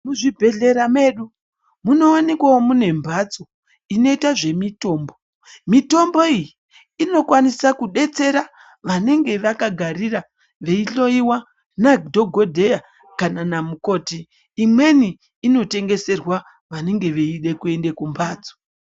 Muzvibhedhlera medu munowanikwawo mune mbatso inoita zvemitombo mitombo iyi inokwanisa kudetsera vanenge vakagarira veihloiwa nadhokodheya kana namukoti imweni inotengeserwa vanenge vachida kuenda kumbatso.